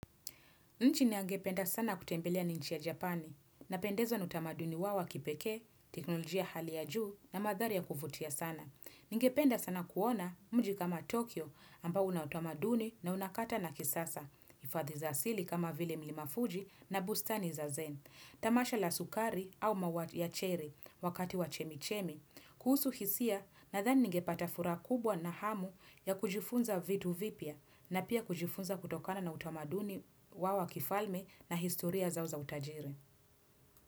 Nchi ningependa sana kutembeleani nchi ya Japani, na pendezwa nautamaduni wao wakipekee, teknolojia hali ya juu na madhari ya kuvutia sana. Ningependa sana kuona mji kama Tokyo ambao unautamaduni na unakata na kisasa, hifadhi za asili kama vile mlimafuji na bustani za zen, tamasha la sukari au maua ya cherry wakati wa chemichemi. Kuhusu hisia nadhani ningepatafuraha kubwa na hamu ya kujifunza vitu vipya na pia kujifunza kutokana na utamaduni waowa kifalme na historia zao za utajiri.